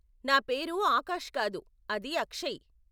నా పేరు ఆకాష్ కాదు, అది అక్షయ్.